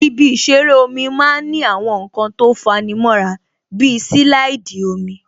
Ibi ìṣeré omi máa ń ní àwọn nǹkan tó fa'ni mọ́ra bí silaidi omi